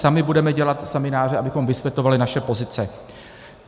Sami budeme dělat semináře, abychom vysvětlovali naše pozice.